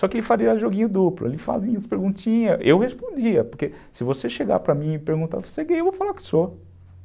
Só que ele faria joguinho duplo, ele fazia as perguntinhas, eu respondia, porque se você chegar para mim e perguntar, você é gay? eu vou falar que sou.